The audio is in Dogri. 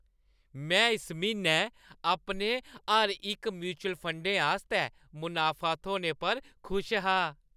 में इस म्हीनै अपने हर इक म्युचल फंडें आस्तै मनाफा थ्होने पर खुश हा।